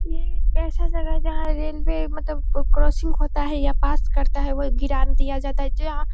ये एक ऐसा जगह है जहाँ रेल्वे मतलब क्रॉसिंग होता है या पास करता है वो दिया जाता है जो यहाँ --